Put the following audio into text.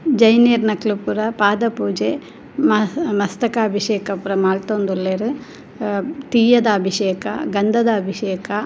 ಜೈನೆರ್ನಕ್ಲ್ ಪೂರ ಪಾದ ಪೂಜೆ ಮಸ್ತಕಾಭಿಷೇಕ ಪೂರ ಮಂತೊದುಲ್ಲೆರ್ ಅಹ್ ತೀಯದ ಅಭಿಷೇಕ ಗಂಧದ ಅಭಿಷೇಕ --